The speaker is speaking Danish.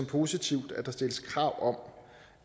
positivt at der stilles krav om